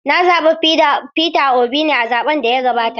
Na zaɓi Peter Obi ne a zaɓen da ya gabata.